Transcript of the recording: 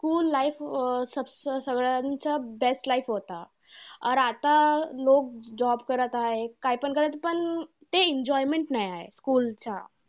School life अं स सगळ्यांचा best life होता. तर आता आता लोक job करत आहे. काय पण करत पण ते enjoyment नाही आहे. school चा.